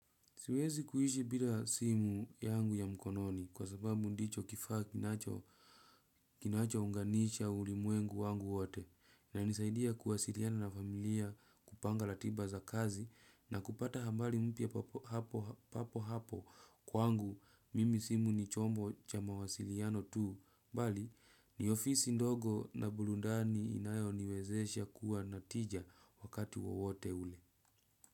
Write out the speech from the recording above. Siwezi kuishi bila simu yangu ya mkononi kwa sababu ndicho kifaa kinacho unganisha ulimwengu wangu wote inanisaidia kuwasiliana na familia kupanga ratiba za kazi na kupata habari mpya papo hapo kwangu mimi simu ni chombo cha mawasiliano tu bali ni ofisi ndogo na burudani inayo niwezesha kuwa na tija wakati wowote ule.